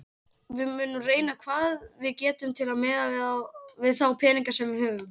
Við munum reyna hvað við getum miðað við þá peninga sem við höfum.